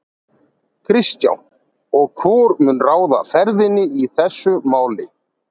Kristján: Og hvor mun ráða ferðinni í þessu máli?